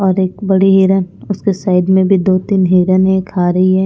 और एक बड़ी हिरन उसके साइड में भी दो-तीन हिरने खा रही है।